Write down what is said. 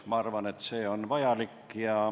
Ma arvan, et see on vajalik.